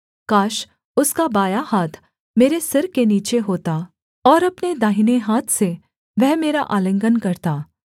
काश उसका बायाँ हाथ मेरे सिर के नीचे होता और अपने दाहिने हाथ से वह मेरा आलिंगन करता